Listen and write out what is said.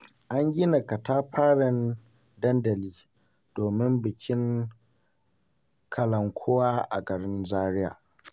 An gina katafaren dandali, domin bikin kalankuwa a garin Zaria.